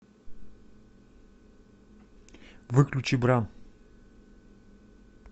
выключи бра